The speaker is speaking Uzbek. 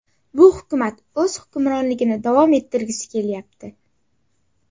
Bu hukumat o‘z hukmronligini davom ettirgisi kelyapti.